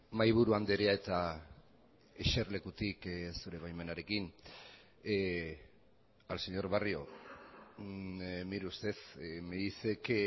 mahaiburu andrea eta eserlekutik zure baimenarekin al señor barrio mire usted me dice que